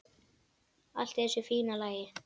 Allt í þessu fína lagi.